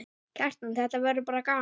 Kjartan: Þetta verður bara gaman?